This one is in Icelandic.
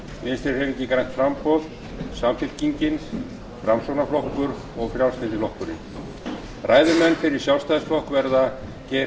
vinstri hreyfingin grænt framboð samfylkingin framsóknarflokkur og frjálslynda flokkurinn ræðumenn fyrir sjálfstæðisflokk verða geir